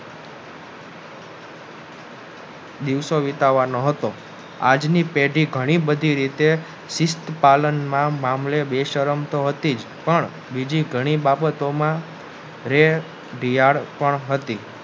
દિવસો વિતાવાનો હતો આજ ની પેઢી ઘણી બધી રીતે શિસ્તપાલનમાં ના મામલે બેશરમ તો હતી જ પણ બીજી ઘણી બાબતોમાં રેઢિયાળ પણ હતી